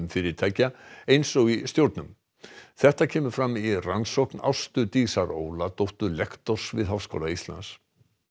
fyrirtækja eins og í stjórnum þetta kemur fram í rannsókn Ástu Dísar Óladóttur lektors við Háskóla Íslands